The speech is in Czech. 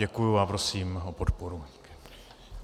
Děkuju a prosím o podporu.